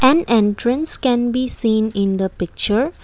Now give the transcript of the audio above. an entrance can be seen in the picture.